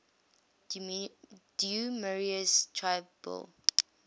du maurier's trilby